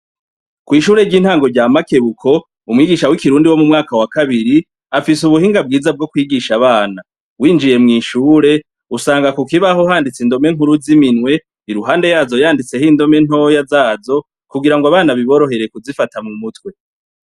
Kw'shure ry'intango rya Makebuko umwigisha w'Ikirundi wo mu mwaka wa kabiri afise ubuhinga bwiza bwo kwigisha abana. Winjiye mw' ishure usanga ku kibaho handitse indome nkuru z'iminwe iruhande yazo yanditseho indome ntoya zazo kugira ngo abana biborohere kuzifata mu mutwe.